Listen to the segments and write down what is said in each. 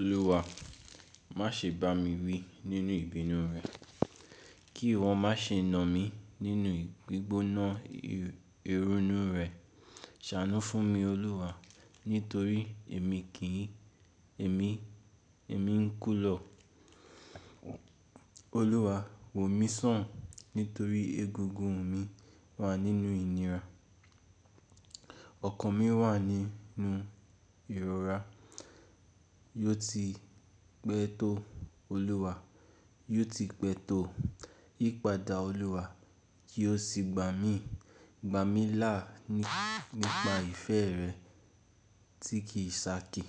“Olúwa, má ṣe bá mi wí nínú ìbínú rẹ, kí wọn má ṣe na mí nínú gbígbóná i irúnu rẹ. Ṣàánú fún mi, Olúwa, nítorí èmi ń kú lọ. Olúwa, wò mí sàn nítorí egungun mi wà nínú ìnira, ọkàn mi wà ní nú ìrora. Yóò ti pẹ́ to, Olúwa, yóò ti pẹ́ to. Yípadà Olúwa, kí ó sì gbà mí i, gbà mí lá nípa ìfẹ́ rẹ tí kì í ṣàkí.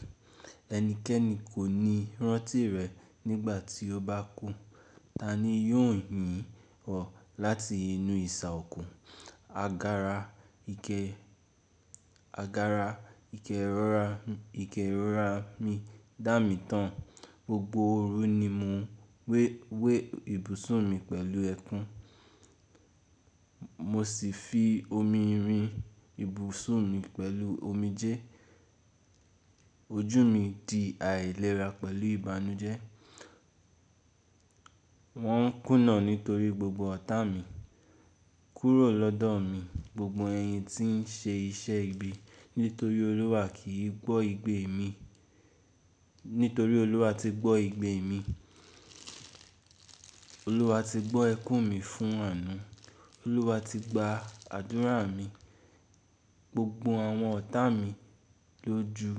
Ẹnikẹ́ni kò ní rántí rẹ nígbà tí ó bá kú: ta ni yóò yìn ọ́ láti inú ìsà òkú? Agara. Agara ikerora ìkẹ́rorà mi dà mí tán, gbogbo oru ni mo n we we ibusùn mi pẹ̀lú ẹkún, mo sì fi omi rin ibusùn mi pẹ̀lú omijé. Ojú mi di àìlera pẹ̀lú ìbànújẹ́, wọ́n kùnà nítorí gbogbo ọ̀tá mi. Kuro lodo mi gbogbo eyin ti n se ise ibi nitori oluwa ki gbo igbe mi. Nítorí Olúwa ti gbọ́ igbe mi, Olúwa ti gbọ́ ẹkún mi fún àánú. Olúwa ti gba àdúrà mi, gbogbo àwọn ọ̀tá mi lójú.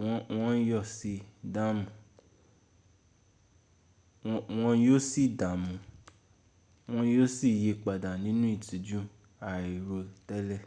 Won won yóò sì dààmú, wọ́n yóò sì yípadà nínú ìtìjú àìrótẹ́lẹ̀.”